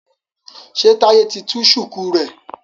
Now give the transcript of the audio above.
ṣe Taiye tí tú shuku rẹ?